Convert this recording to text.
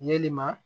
Yelima